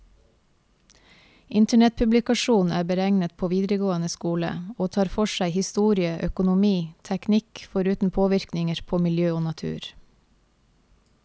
Internettpublikasjonen er beregnet for videregående skole, og tar for seg historie, økonomi, teknikk, foruten påvirkninger på miljø og natur.